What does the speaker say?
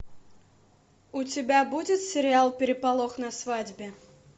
у тебя будет сериал переполох на свадьбе